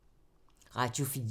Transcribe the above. Radio 4